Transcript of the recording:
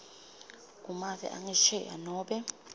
kumave angesheya nobe